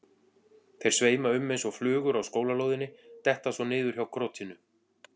Þeir sveima um eins og flugur á skólalóðinni, detta svo niður hjá krotinu.